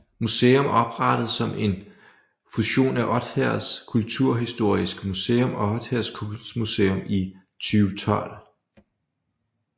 Odsherred Museum oprettet som en fusion af Odsherreds Kulturhistoriske Museum og Odsherred Kunstmuseum i 2012